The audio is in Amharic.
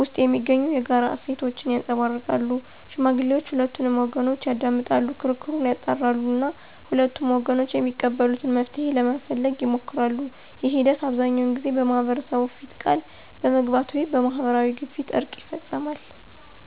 ውስጥ የሚገኙ የጋራ እሴቶችን ያንፀባርቃሉ። ሽማግሌዎች ሁለቱንም ወገኖች ያዳምጣሉ፣ ክርክሩን ያጣራሉ እና ሁለቱም ወገኖች የሚቀበሉትን መፍትሄ ለመፈለግ ይሞክራሉ። ይህ ሂደት አብዛኛውን ጊዜ በማህበረሰቡ ፊት ቃል በመግባት ወይም በማህበራዊ ግፊት እርቅ ይፈፀማል።